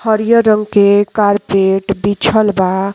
हरियर रंग के कार्पेट बिछल बा।